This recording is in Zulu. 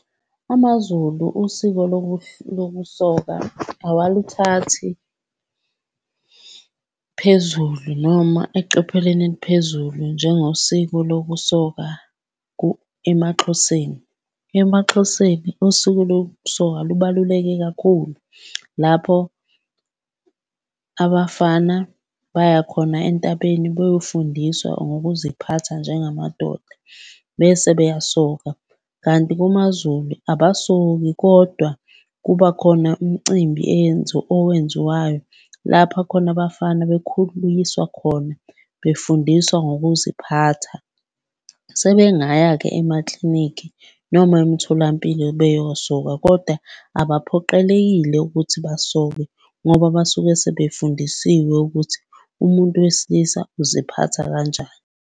AmaZulu, usiko lokusoka awaluthathi phezulu noma eqophelweni eliphezulu njengosiko lokusoka emaXhoseni. EmaXhoseni usiko lokusoka lubaluleke kakhulu lapho abafana baya khona entabeni beyofundiswa ngokuziphatha njengamadoda bese beyasoka. Kanti kumaZulu abasoki kodwa kuba khona umcimbi owenziwayo lapha khona abafana bekhuliswa khona, befundiswa ngokuziphatha. Sebengaya-ke emaklinikhi noma emtholampilo beyosoka koda abaphoqelekile ukuthi basoke ngoba basuke sebefundisiwe ukuthi umuntu wesilisa uziphatha kanjani.